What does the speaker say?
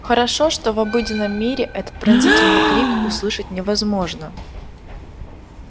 хорошо что в обыденном мире этот пронзительный крик услышать невозможно